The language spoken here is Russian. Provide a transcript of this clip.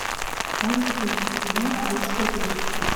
можешь включить кино будь что будет